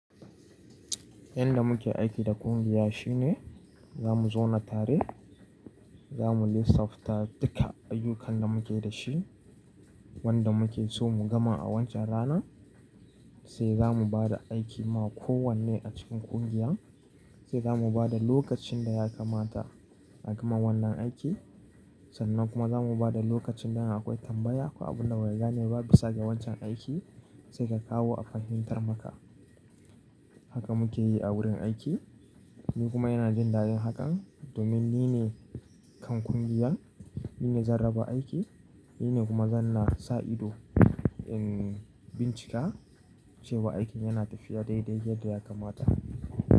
Yanda muke aiki da ƙungiya shi ne za mu zauna tare, za mu lissafta duka ayyukan da muke da shi wanda muke so mu gama a wancan rana. Sai za mu ba da aiki ma kowanne a cikin ƙungiyar, sai za mu ba da lokacin da ya kamata a gama wannan aiki. Sannan kuma za mu ba da lokaci idam akwai tambaya ko abun da baka gane ba bisa ga wancan aiki sai ka kawo a fahimtar maka. Haka muke yi a wurin aiki ni kuma yana jin daɗin hakan domin ni ne kan ƙungiyar, ni ne zan raba aiki, ni ne kuma zan na sa ido in bincika cewa aikin yana tafiya dai dai yadda ya kamata.